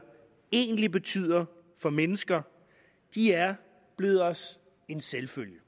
egentlig betyder for mennesker de er blevet os en selvfølge